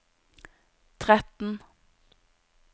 tretten